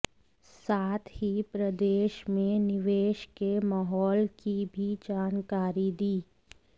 साथ ही प्रदेश में निवेश के माहौल की भी जानकारी दी